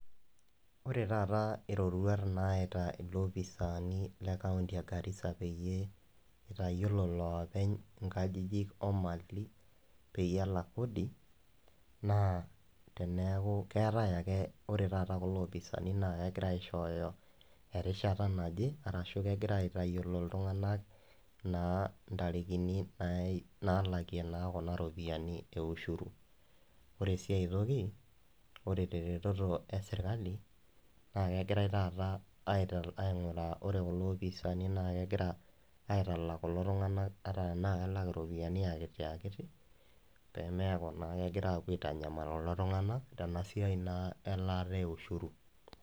Ore taata irorwat nayaita lopisani le county egarisa peyie itayiolo loopeny nkajijik omali peyie elak kodi na tenaaku ketae ake ore taata kulo opisani na kegora aishooyo erishata naje ashu kegira aitayiolo ltunganak naa ntarikini nalakie na kuna ropiyani eushuri, ore si aitoki ore eserkali na kegirai taata ainguraa ore kulo opisani nakegira ainguraa aitalak kulo tunganak ata na kelak ropiyani akiti pemeaku na kegira apuo aitanyamal kulo tunganak tenasiai elaata e ushure.